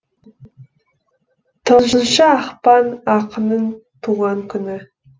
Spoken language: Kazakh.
тоғызыншы ақпан ақынның туған күні